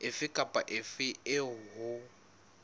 efe kapa efe eo ho